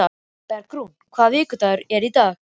Bergrún, hvaða vikudagur er í dag?